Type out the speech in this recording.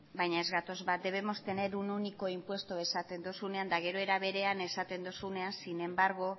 baina ez gatoz bat debemos tener un único impuesto esaten dozunean eta gero era berean esaten duzunean sin embargo